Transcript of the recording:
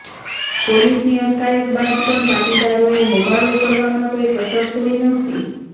પોલીસની અટકાયત બાદ પણ પાટીદારોએ હોબાળો કરવામાં કોઈ કસર છોડી નહોતી